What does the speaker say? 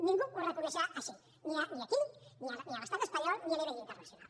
ningú ho reconeixerà així ni aquí ni a l’estat espanyol ni a nivell internacional